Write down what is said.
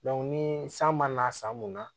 ni san mana san mun na